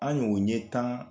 An ɲ'o ɲɛ tan